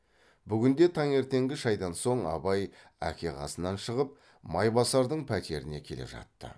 бүгін де таңертеңгі шайдан соң абай әке қасынан шығып майбасардың пәтеріне келе жатты